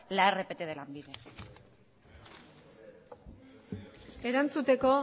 la rpt de lanbide erantzuteko